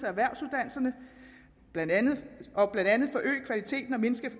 erhvervsuddannelserne og blandt andet forøge kvaliteten og mindske